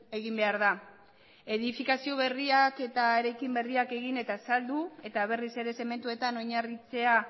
egin behar da edifikazio berriak eta eraikin berriak egin eta saldu eta berriz ere zementuetan oinarritzea